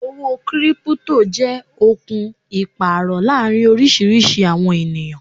Owó 'Kírípútò' jẹ́ okùn Ìpàrò láàrin oriísirísi àwọn ènìyàn